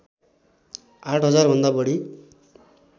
आठ हजार भन्दा बढी